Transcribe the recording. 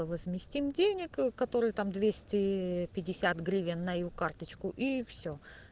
возместим денег которые там двести пятьдесят гривен на её карточку и всё